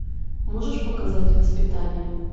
можешь показать воспитание